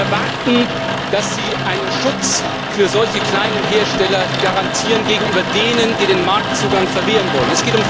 Wir erwarten, dass Sie einen Schutz für solche kleinen Hersteller garantieren gegenüber denen, die den Marktzugang verwehren wollen.